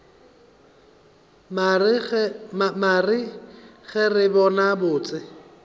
mare ge re bona botse